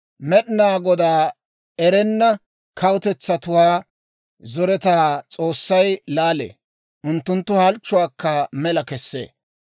Med'inaa Godaa erenna kawutetsatuwaa zoretaa S'oossay laalee; unttunttu halchchuwaakka mela kesee.